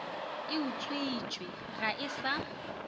e utswitšwe ga e sa